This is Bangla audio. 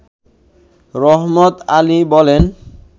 রহমত আলী বলেন